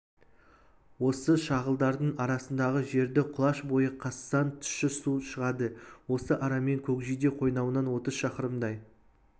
осы шағылдардың арасындағы жерді құлаш бойы қазсаң тұщы су шығады осы арамен көкжиде қойнауынан отыз шақырымдай